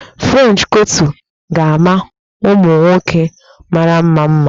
French kọtụ ga-ama ụmụ nwoke mara mma mma